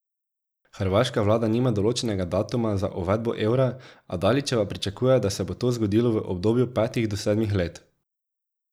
Hrvaška vlada nima določenega datuma za uvedbo evra, a Dalićeva pričakuje, da se bo to zgodilo v obdobju petih do sedmih letih.